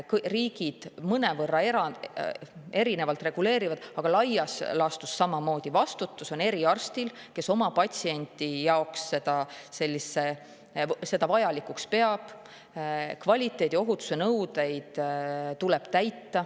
Riigid seda mõnevõrra erinevalt reguleerivad, aga laias laastus on samamoodi: vastutus on sellel eriarstil, kes seda oma patsiendi jaoks vajalikuks peab, ja kvaliteediohutuse nõudeid tuleb täita.